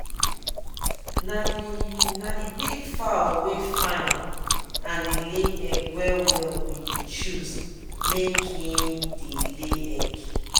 na the na the big fowl wey fine and dey lay egg well well we dey choose make en dey lay egg.